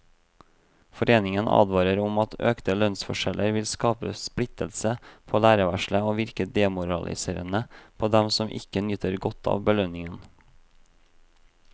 Foreningen advarer om at økte lønnsforskjeller vil skape splittelse på lærerværelset og virke demoraliserende på dem som ikke nyter godt av belønningen.